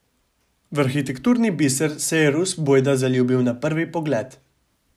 V arhitekturni biser se je Rus bojda zaljubil na prvi pogled.